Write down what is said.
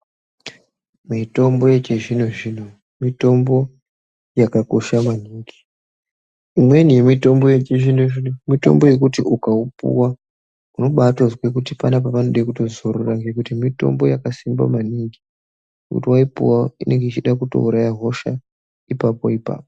Mitombo yechizvino zvino mitombo yakakosha maningi imweni yemitombo yechizvino zvino mitombo yekuti ukaupuwa unobaatozwe kuti panapa panode kutozorora nekuti mitombo yakasimba maningi kuti vaipuwa inenge yeida kutouraya hosha ipapo ipapo.